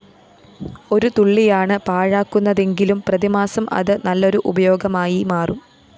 ഒരു തുള്ളിയാണ് പാഴാക്കുന്നതെങ്കിലും പ്രതിമാസം അത് നല്ലൊരു ഉപയോഗമായി മാറും